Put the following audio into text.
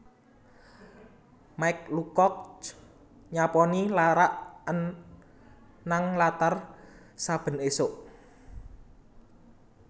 Mike Lucock nyaponi larak an nang latar saben isuk